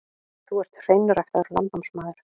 Þú ert hreinræktaður landnámsmaður.